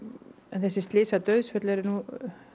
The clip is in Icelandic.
þessi slys og dauðsföll eru nú